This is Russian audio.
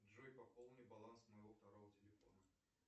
джой пополни баланс моего второго телефона